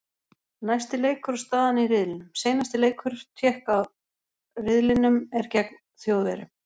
Næsti leikur og staðan í riðlinum: Seinasti leikur Tékka riðlinum er gegn Þjóðverjum.